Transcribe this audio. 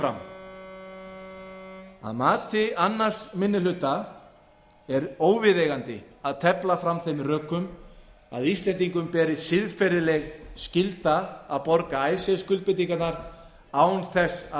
að mati annar minni hluta er óviðeigandi að tefla fram þeim rökum að íslendingum beri siðferðileg skylda að borga icesave skuldbindingarnar án þess að